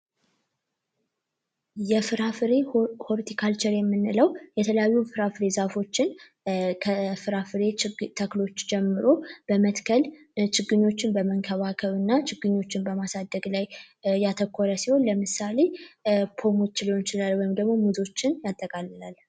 የፍራፍሬ ሆርቲካልቸር የምንለው የተለያዩ የፍራፍሬ ዛፎችን ከፍራፍሬ ተክሎች ጀምሮ በመትከል ችግኞችን በመንከባከብ እና ችግኞችን በማሳደግ ላይ ያተኮረ ሲሆን ለምሳሌ ፓሞችን ሊሆን ይችላል ወይም ደግሞ ሙዞችን ያጠቃልላል።